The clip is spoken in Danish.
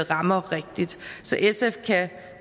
rammer rigtigt så sf kan